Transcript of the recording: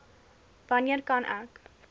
wanneer kan ek